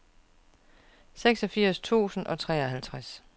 seksogfirs tusind og treoghalvtreds